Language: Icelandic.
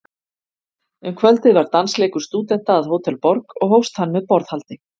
Um kvöldið var dansleikur stúdenta að Hótel Borg, og hófst hann með borðhaldi.